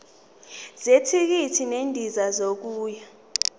zethikithi lendiza yokuya